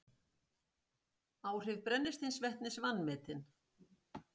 Áhrif brennisteinsvetnis vanmetin